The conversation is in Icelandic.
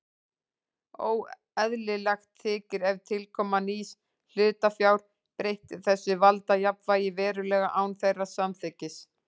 Óeðlilegt þykir ef tilkoma nýs hlutafjár breytti þessu valdajafnvægi verulega án þeirra samþykkis.